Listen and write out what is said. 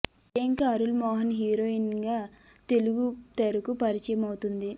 Priyanka Arul Mohan heroine గా తెలుగు తెరకు పరిచయం అవుతుంది